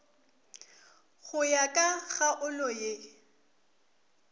go ya ka kgaolo ye